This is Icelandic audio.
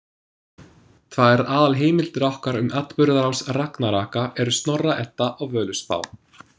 Tvær aðalheimildir okkar um atburðarás ragnaraka eru Snorra-Edda og Völuspá.